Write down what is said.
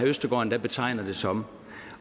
østergaard endda betegnede det som